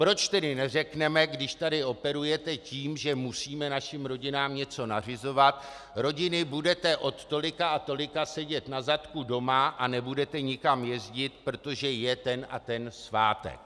Proč tedy neřekneme, když tady operujete tím, že musíme našim rodinám něco nařizovat "rodiny, budete od tolika a tolika sedět na zadku doma a nebudete nikam jezdit, protože je ten a ten svátek"?